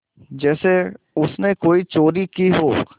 जैसे उसने कोई चोरी की हो